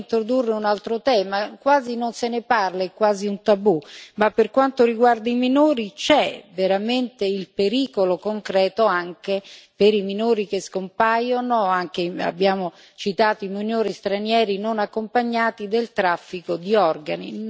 Vorrei introdurre un altro tema quasi non se ne parla, è quasi un tabù, ma per quanto riguarda i minori c'è veramente il pericolo concreto, anche per i minori che scompaiono abbiamo citato i minori stranieri non accompagnati del traffico di organi.